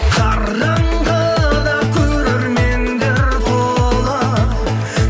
қараңғыда көрермендер тола